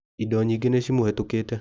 Indo nyĩngĩ nĩ cimũhĩtũkĩte.